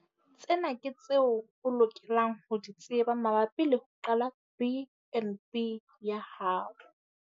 Tsena ke tseo o lokelang ho di tseba mabapi le ho qala BnB ya hao.